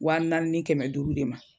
Wa naani ni kɛmɛ duuru de ma